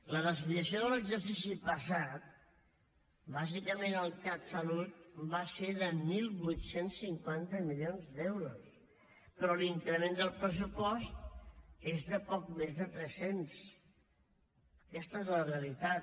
la desviació de l’exercici passat bàsicament al catsalut va ser de divuit cinquanta milions d’euros però l’increment del pressupost es de poc més de tres cents aquesta és la realitat